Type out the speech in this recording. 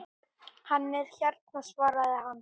Hann er hérna svaraði hann.